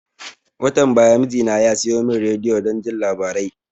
Watan baya mijina ya siyo mun rediyo don jin labarai